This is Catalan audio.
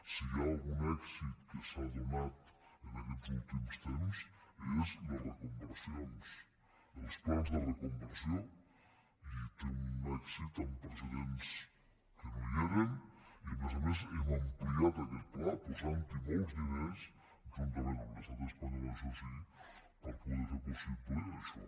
si hi ha algun èxit que s’ha donat en aquests últims temps és les reconversions els plans de reconversió i té un èxit amb precedents que no hi eren i a més a més hem ampliat aquest pla posant hi molts diners juntament amb l’estat espanyol això sí per poder fer possible això